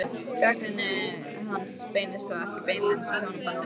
Gagnrýni hans beinist þó ekki beinlínis að hjónabandinu.